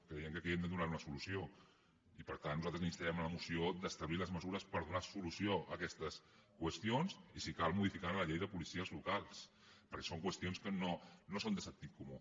creiem que aquí hem de donar hi una solució i per tant nosaltres instarem una moció d’establir les mesures per donar solució a aquestes qüestions i si cal modificar la llei de policies locals perquè són qüestions que no són de sentit comú